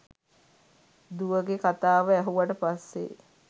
දුවගෙ කතාව ඇහුවට පස්සෙ